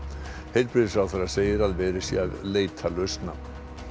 heilbrigðisráðherra segir að verið sé að leita lausna